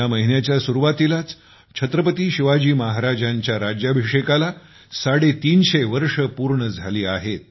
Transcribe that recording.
या महिन्याच्या सुरुवातीलाच छत्रपती शिवाजी महाराजांच्या राज्याभिषेकाला 350 वर्षे पूर्ण झाली आहेत